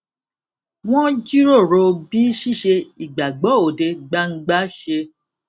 wọn jíròrò bí ṣíṣe ìgbàgbọ òde gbangba ṣe